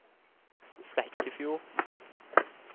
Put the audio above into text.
Flekkefjord